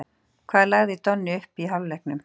Hvað lagði Donni upp í hálfleiknum?